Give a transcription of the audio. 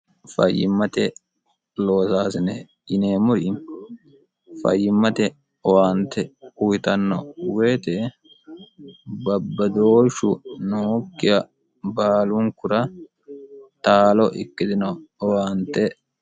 fayyimmate loosaasine yineemmori fayyimmate owaante uyitanno woyite babbadooshshu nookkiha baalunkura taalo ikkitino owaante